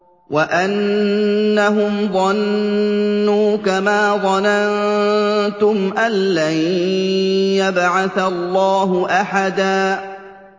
وَأَنَّهُمْ ظَنُّوا كَمَا ظَنَنتُمْ أَن لَّن يَبْعَثَ اللَّهُ أَحَدًا